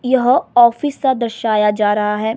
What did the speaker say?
यह ऑफिस सा दर्शाया जा रहा है।